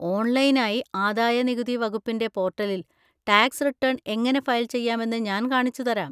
ഓൺലൈനായി ആദായ നികുതി വകുപ്പിൻ്റെ പോർട്ടലിൽ ടാക്സ് റിട്ടേൺ എങ്ങനെ ഫയൽ ചെയ്യാമെന്ന് ഞാൻ കാണിച്ചുതരാം.